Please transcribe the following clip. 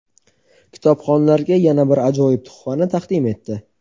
kitobxonlarga yana bir ajoyib tuhfani taqdim etdi.